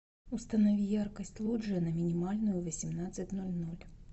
установи яркость лоджия на минимальную в восемнадцать ноль ноль